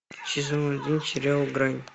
сезон один сериал грань